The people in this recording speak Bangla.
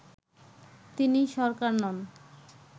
তিনি সরকার নন